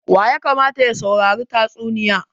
Wa ya kamata ya saurari tatsuniya?